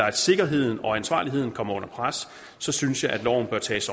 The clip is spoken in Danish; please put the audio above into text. at sikkerheden og ansvarligheden kommer under pres synes jeg at loven bør tages